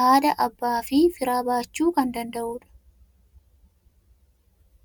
haadha, abbaa fi fira baachuu kan danda'udha.